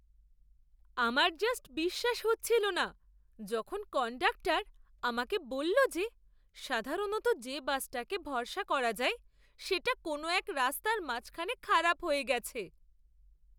আমার জাস্ট বিশ্বাস হচ্ছিল না যখন কন্ডাক্টর আমাকে বলল যে সাধারণত যে বাসটাকে ভরসা করা যায় সেটা কোন এক রাস্তার মাঝখানে খারাপ হয়ে গেছে!